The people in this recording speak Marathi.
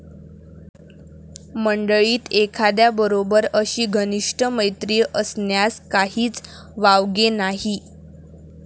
मंडळीत एखाद्याबरोबर अशी घनिष्ठ मैत्री असण्यात काहीच वावगे नाही.